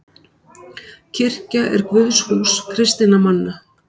Kirkja er guðshús kristinna manna.